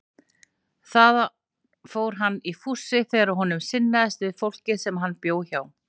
Þaðan fór hann í fússi þegar honum sinnaðist við fólkið sem hann bjó hjá.